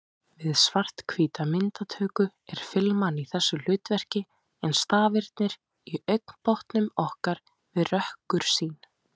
Við svarthvíta myndatöku er filman í þessu hlutverki en stafirnir í augnbotnum okkar við rökkursýn.